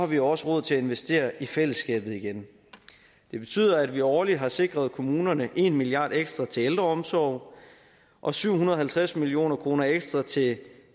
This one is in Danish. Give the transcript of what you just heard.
vi også råd til at investere i fællesskabet igen det betyder at vi årligt har sikret kommunerne en milliard kroner ekstra til ældreomsorg og syv hundrede og halvtreds million kroner ekstra til